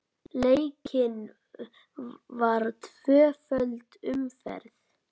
Leikin var tvöföld umferð.